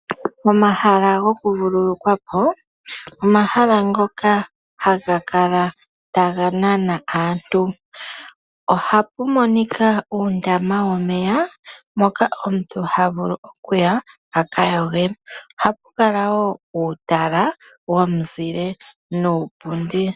Omahala gomavululukilo omahala ngoka haga kala taga nana aantu . Oha pu monika uundama womeya mpoka omuntu ha vulu okuya a kayoge. Ohapu kala uutala womuzile nuupundi.